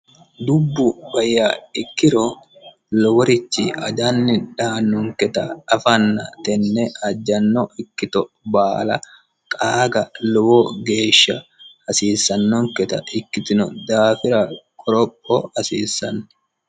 dubbu bayya ikkiro loworichi ajanni dhaannonketa afanna tenne ajjanno ikkito baala qaaga lowo geeshsha hasiissannonketa ikkitino daafira koroho hasiissanni